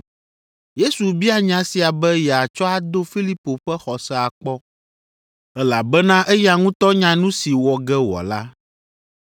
Yesu bia nya sia be yeatsɔ ado Filipo ƒe xɔse akpɔ, elabena eya ŋutɔ nya nu si wɔ ge wòala.